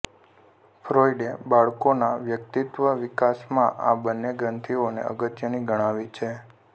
ફ્રૉઈડે બાળકોના વ્યક્તિત્વવિકાસમાં આ બંને ગ્રંથિઓને અગત્યની ગણાવી છે